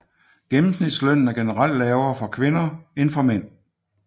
Gennemsnitslønnen er generelt lavere for kvinder end for mænd